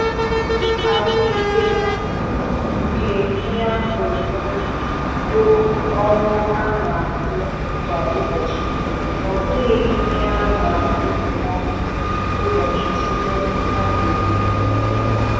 Ahụike nke ihe a kụrụ n'ubi bụ ọrụ a na- arụ kwa ụbọchị, ọbụghị ihe a na-agụpụtụcha ụbọchị tupuu a na-eme